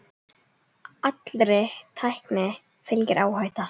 Allri tækni fylgir áhætta.